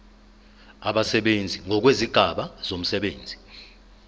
abasebenzi ngokwezigaba zomsebenzi